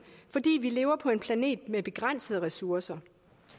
fordi vi lever på en planet med begrænsede ressourcer